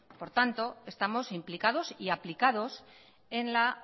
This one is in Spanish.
por tanto estamos implicados y aplicados en la